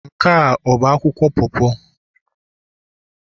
Nke a bụ akwụkwọ po po?